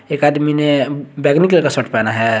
एक आदमी ने बैगनी कलर का शर्ट पहना है।